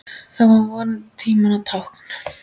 Það er vonandi tímanna tákn.